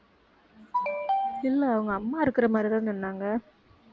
இல்லை அவங்க அம்மா இருக்கிற மாதிரி தான் சொன்னாங்க